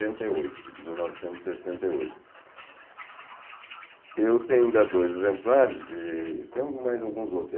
e oito, de mil novecentos e sessenta e oito. Eu tenho ainda dois exemplares e tem mais alguns outros.